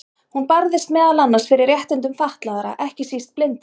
Hún barðist meðal annars fyrir réttindum fatlaðra, ekki síst blindra.